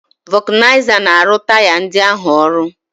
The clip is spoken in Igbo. Vulcanizer na-arụ taya ndị ahụ ọrụ